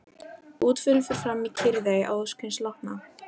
Útförin fer fram í kyrrþey að ósk hins látna.